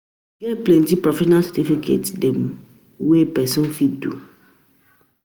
E get plenty profesional certification dem wey person fit do.